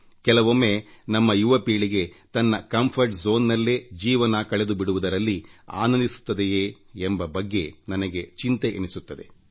ಕೆಲವೊಮ್ಮೆ ನಮ್ಮ ಯುವಪೀಳಿಗೆ ತನ್ನ ಆರಾಮದಾಯಕ ಸೂಕ್ತ ನೆಲೆ ಕಂಫರ್ಟ್ zoneಯಲ್ಲಿ ಜೀವನ ಕಳೆದುಬಿಡುವುದರಲ್ಲಿ ಆನಂದಿಸುತ್ತದೆಯೇ ಎಂಬ ಬಗ್ಗೆ ನನಗೆ ಚಿಂತೆಯೆನಿಸುತ್ತದೆ